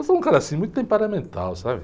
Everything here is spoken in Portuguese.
Eu sou um cara assim, muito temperamental, sabe?